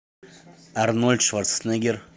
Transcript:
арнольд шварценеггер